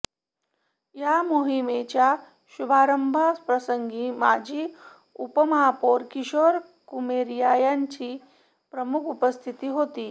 या माहिमेच्या शुभारंभ प्रसंगी माजी उपमहापौर किशोर कुमेरिया यांची प्रमुख उपस्थिती होती